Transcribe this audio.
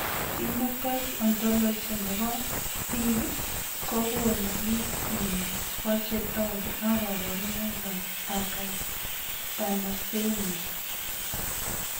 Phenotype ontology nebo biik kokoonu listini bo chetogu ak kaborunoik ab Acatalasemia